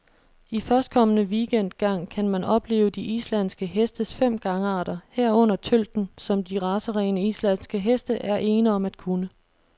I førstkommende weekend gang kan man opleve de islandske hestes fem gangarter, herunder tølten, som de racerene, islandske heste er ene om at kunne.